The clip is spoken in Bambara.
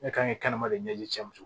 Ne kan ka kɛnɛma de ɲɛji cɛ